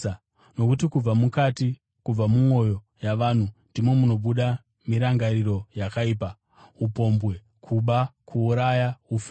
Nokuti kubva mukati, kubva mumwoyo yavanhu ndimo munobuda mirangariro yakaipa, upombwe, kuba, kuuraya, ufeve,